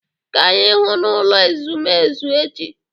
Ka anyị hụ n'ụlọ ezumezu echi